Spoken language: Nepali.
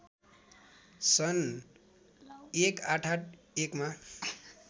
सन् १८८१ मा